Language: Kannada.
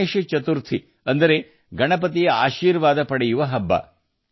ಗಣೇಶ ಚತುರ್ಥಿ ಅಂದರೆ ಗಣಪತಿ ಬಪ್ಪನ ಆಶೀರ್ವಾದದ ಹಬ್ಬ